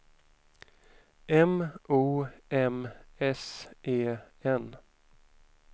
M O M S E N